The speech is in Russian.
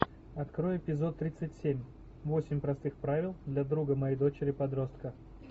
открой эпизод тридцать семь восемь простых правил для друга моей дочери подростка